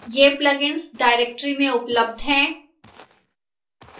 ये plugins directory में उपलब्ध हैं